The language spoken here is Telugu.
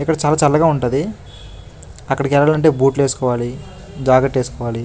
ఇక్కడ చాలా చల్లగా ఉంటది అక్కడికి ఎల్లాలంటే బూట్లు వేసుకోవాలి జాకెట్ వేసుకోవాలి.